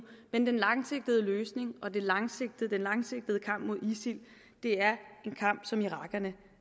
men den langsigtede løsning og den langsigtede langsigtede kamp mod isil er en kamp som irakerne